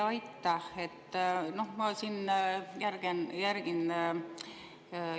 Aitäh!